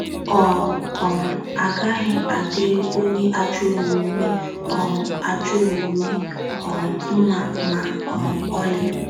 “ Ọ um gaghị adịrị onye ajọ omume um ajọ omume um mma ma um ọlị. ”